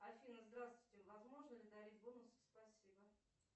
афина здравствуйте возможно ли дарить бонусы спасибо